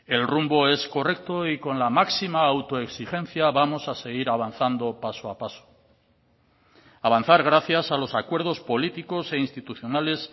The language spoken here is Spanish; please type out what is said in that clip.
el rumbo es correcto y con la máxima autoexigencia vamos a seguir avanzando paso a paso avanzar gracias a los acuerdos políticos e institucionales